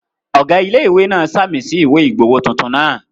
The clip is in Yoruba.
Ọ̀gá ilé-ìwé náà ṣàmì sí ìwé ìgbowó tuntun náà